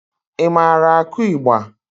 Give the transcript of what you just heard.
I maara akụ ịgba?